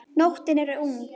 Nóttin er ung